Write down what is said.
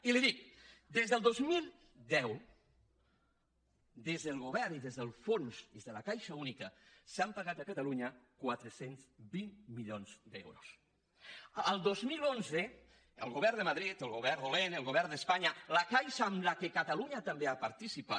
i li dic des del dos mil deu des del govern i des del fons des de la caixa única s’han pagat a catalunya quatre cents i vint milions d’euros el dos mil onze el govern de madrid el govern dolent el govern d’espanya la caixa en què catalunya també ha participat